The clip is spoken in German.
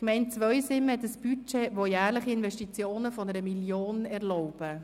Die Gemeinde Zweisimmen hat ein Budget, das jährlich Investitionen von 1 Mio. Franken erlaubt.